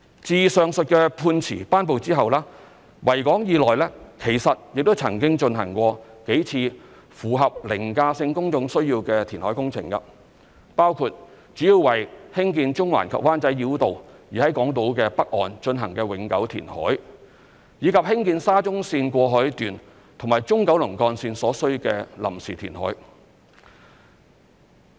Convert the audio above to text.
自上述判詞頒布後，維港以內其實亦曾經進行過數次符合"凌駕性公眾需要"的填海工程，包括主要為興建中環及灣仔繞道而在港島北岸進行的永久填海，以及興建沙田至中環綫過海段和中九龍幹線所需的臨時填海。